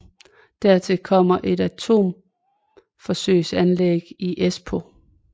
Dertil kommer et atomforsøgsanlæg i Espoo